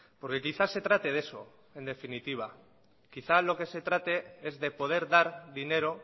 porque quizá se trate de eso en definitiva quizá lo que se trate es de poder dar dinero